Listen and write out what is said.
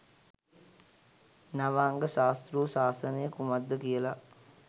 නවාංග ශාස්තෘ ශාසනය කුමක්ද කියලා